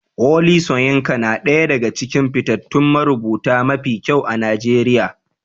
Wole Soyinka nada ɗaya daga cikin fitattun marubuta mafi kyau a Najeriya